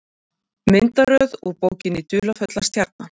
Myndaröð úr bókinni Dularfulla stjarnan.